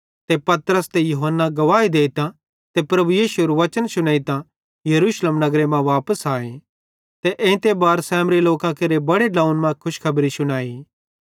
ते पतरस ते यूहन्ना गवाही देइतां ते प्रभु यीशुएरू वचन शुनेइतां यरूशलेम नगरे मां वापस आए ते एइते बारे सामरी लोकां केरे बड़े ड्लोंव्वन मां खुशखबरी शुनाई